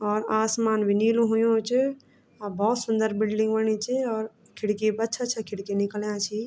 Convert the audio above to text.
और आसमान भी नीलू हुयुं च और बहौत सुन्दर बिल्डिंग बणी च और खिड़की भी अच्छा-अच्छा खिड़की निकलयां छी।